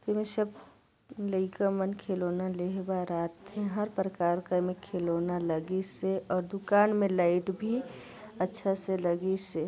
इसमें स लईका मन खिलौने ले हे बर आथे हर प्रकार के एमा खिलौना लगिस है और दूकान में लाइट भी अच्छा से लगिस है।